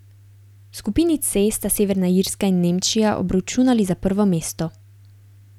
V skupini C sta Severna Irska in Nemčija obračunali za prvo mesto.